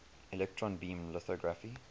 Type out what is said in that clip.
electron beam lithography